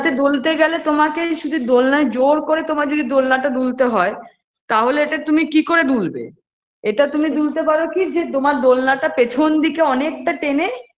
দুলতে গেলে তোমাকেই শুধু দোলনায় জোর করে তোমাকে যদি দোলনাতে দুলতে হয়ে তাহলে এটা তুমি কি করে দুলবে এটা তুমি দুলতে পারো কি যে তোমার দোলনাটা পেছন দিকে অনেকটা টেনে